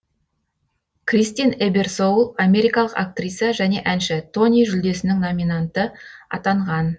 кристин эберсоул америкалық актриса және әнші тони жүлдесінің номинанты атанған